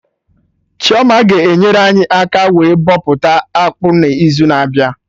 Chioma ga-enyere anyị aka wee bọpụta akpụ n'izu na-abịa